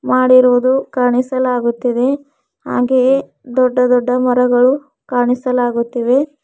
ಮಾಡಿರೋದು ಕಾಣಿಸಲಾಗುತ್ತಿದೆ ಹಾಗೆಯೇ ದೊಡ್ಡ ದೊಡ್ಡ ಮರಗಳು ಕಾಣಿಸಲಾಗುತ್ತಿವೆ.